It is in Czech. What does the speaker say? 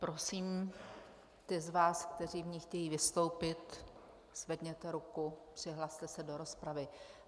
Prosím ty z vás, kteří v ní chtějí vystoupit, zvedněte ruku, přihlaste se do rozpravy.